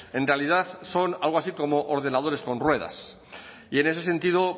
en realidad son algo así como ordenadores con ruedas y en ese sentido